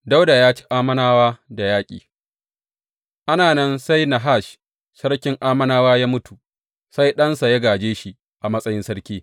Dawuda ya ci Ammonawa da yaƙi Ana nan, sai Nahash sarkin Ammonawa ya mutu, sai ɗansa ya gāje shi a matsayin sarki.